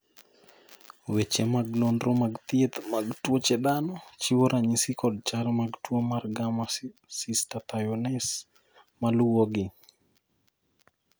weche mag nonro mag thieth mag tuoche dhano chiwo ranyisi kod chal mag tuo mar Gamma cystathionase maluwogi